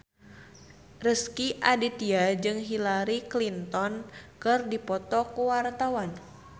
Rezky Aditya jeung Hillary Clinton keur dipoto ku wartawan